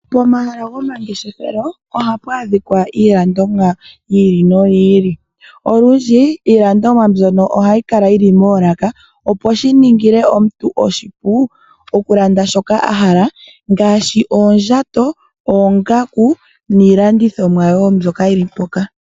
Momahala gomangeshefelo, ohamu adhika iilandithomwa yili noyili. Olundji iilandomwa mbyono ohayi vulu okukala yili moolaka . Shino oshili hashi ningile omulandithomwa opo amone nuupu shoka ahala okulanda.